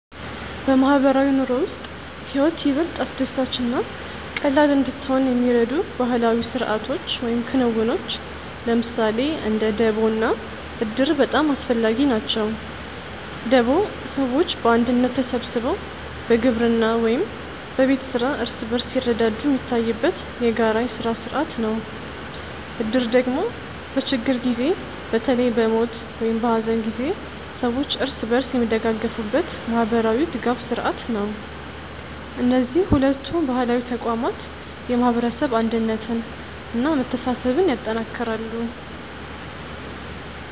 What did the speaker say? በማህበራዊ ኑሮ ውስጥ ህይወት ይበልጥ አስደሳች እና ቀላል እንድትሆን የሚረዱ ባህላዊ ስርዓቶች ወይም ክንውኖች ለምሳሌ እንደ ደቦ እና እድር በጣም አስፈላጊ ናቸው። ደቦ ሰዎች በአንድነት ተሰብስበው በግብርና ወይም በቤት ስራ እርስ በርስ ሲረዳዱ የሚታይበት የጋራ የስራ ስርዓት ነው። እድር ደግሞ በችግር ጊዜ በተለይ በሞት ወይም በሐዘን ጊዜ ሰዎች እርስ በርስ የሚደጋገፉበት ማህበራዊ ድጋፍ ስርዓት ነው። እነዚህ ሁለቱ ባህላዊ ተቋማት የማህበረሰብ አንድነትን እና መተሳሰብን ያጠናክራሉ።